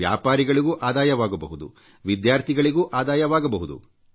ವ್ಯಾಪಾರಿಗಳಿಗೂ ಆದಾಯವಾಗಬಹುದು ವಿದ್ಯಾರ್ಥಿಗಳಿಗೂ ಆದಾಯವಾಗಬಹುದು